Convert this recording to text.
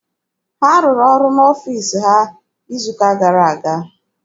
Ha rụrụ ọrụ n'ọfiisi ha izu ụka gara aga.